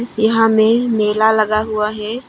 यहां में मेला लगा हुआ है।